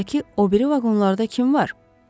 Qatardakı o biri vaqonlarda kim var?